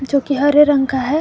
जो कि हरे रंग का है।